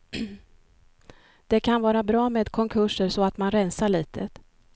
Det kan vara bra med konkurser så att man rensar litet.